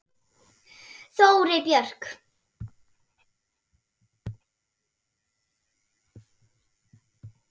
Þórey Björk.